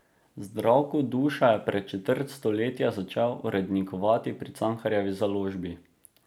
Zdravko Duša je pred četrt stoletja začel urednikovati pri Cankarjevi založbi.